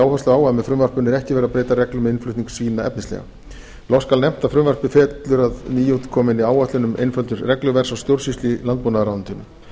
áherslu á að með frumvarpinu er ekki verið breyta reglum um innflutning svína efnislega loks skal nefnt að frumvarpið fellur að nýútkominni áætlun um einföldun regluverks og stjórnsýslu í landbúnaðarráðuneytinu